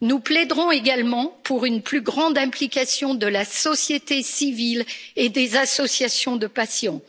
Nous plaiderons également pour une plus grande implication de la société civile et des associations de patients.